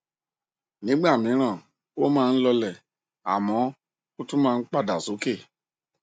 nígbà míràn oh máa nh lọọlẹ àmọ ó tún máa ń padà sókè